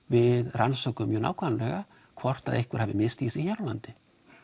rannsökum mjög nákvæmlega hvort að einhver hafi misstigið sig hér á landi